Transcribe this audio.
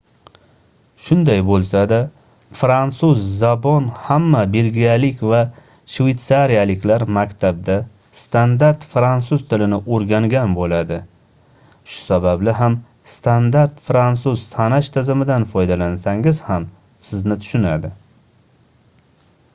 shunday boʻlsada fransuz zabon hamma belgiyalik va shveytsariyaliklar maktabda standart fransuz tilini oʻrgangan boʻladi shu sababli ham standart fransuz sanash tizimidan foydalansangiz ham sizni tushunadi